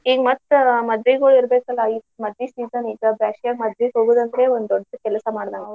ಈಗ ಮತ್ತ ಮದ್ವಿಗೊ ಇರ್ಬೇಕಲ್ಲ ಮದ್ವಿಗ್ season ಇದ್ದ ಬಸ್ಗೆಗೆ ಒಂದ್ ಮದ್ವಿಗ್ ಹೋಗುದಂದ್ರೆ ದೊಡ್ಡ್ ಕೆಲ್ಸಾ ಮಾಡಿದಂಗ.